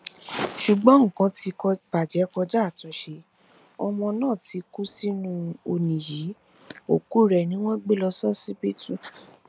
ṣùgbọn nǹkan ti bàjẹ kọjá àtúnṣe ọmọ náà ti kú sínú ọnì yìí òkú rẹ ni wọn gbé lọ ṣọsibítù